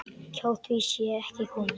Hjá því sé ekki komist.